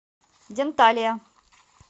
денталия